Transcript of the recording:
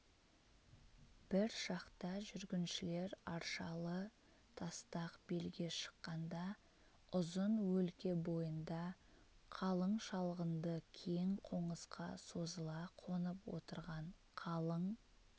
бір шақта жүргіншілер аршалы тастақ белге шыққанда ұзын өлке бойында қалың шалғынды кең қонысқа созыла қонып отырған қалың